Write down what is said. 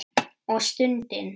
Og stundi.